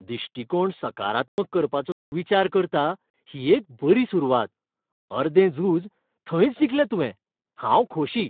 दिश्टीकोण सकारात्मक करपाचो तूं विचार करता ही एक बरी सुरवात. अर्दें झूज थंयच जिखलें तुवें, हांव खोशी.